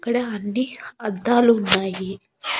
ఇక్కడ అండి అద్దాలు ఉన్నాయి.